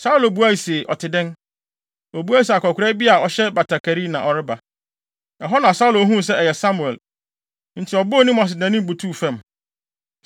Saulo bisae se, “Ɔte dɛn?” Obuae se, “Akwakoraa bi a ɔhyɛ batakari, na ɔreba.” Ɛhɔ na Saulo huu sɛ ɛyɛ Samuel, enti ɔbɔɔ ne mu ase de nʼanim butuw fam.